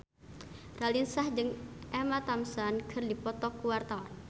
Raline Shah jeung Emma Thompson keur dipoto ku wartawan